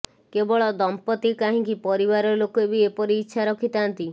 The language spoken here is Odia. କେବଳ ଦମ୍ପତି କାହିଁକି ପରିବାର ଲୋକେ ବି ଏପରି ଇଚ୍ଛା ରଖିଥାନ୍ତି